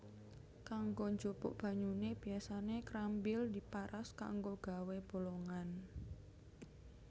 Kanggo njupuk banyune biasane krambil diparas kanggo gawé bolongan